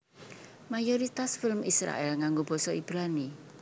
Mayoritas film Israèl nganggo basa Ibrani